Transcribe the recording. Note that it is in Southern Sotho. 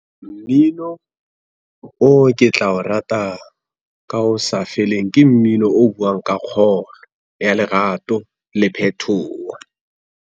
Mmino, o ke tla o rata, ka ho sa feleng ke mmino o buang ka kgolo ya lerato le phethoho.